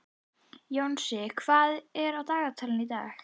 Jónsi, hvað er á dagatalinu í dag?